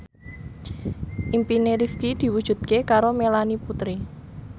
impine Rifqi diwujudke karo Melanie Putri